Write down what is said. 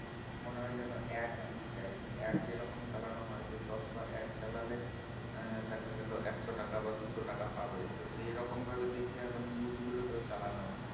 মনে হয় যেনো AD দিচ্ছে আর কি strong যেরকম চালান হয় দশ বার AD চালালে আহ দেখা গেলো একশো টাকা বা দুশো টাকা পাবে তো সে রকম ভাবে দেখি আবার news গুলোকে চালনো হয়